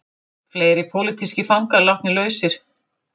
Fleiri pólitískir fangar látnir lausir